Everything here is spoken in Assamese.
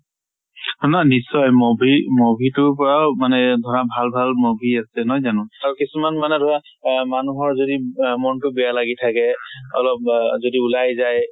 নহয় নশ্চয় movie movie তোৰ পৰাও মানে ধৰা ভাল ভাল movie আছে, নহয় জানো? আৰু কিছুমান মানে ধৰা আহ মানুহৰ যদি আহ মন টো বেয়া লাগি থাকে। অলপ যদি ওলাই যায়।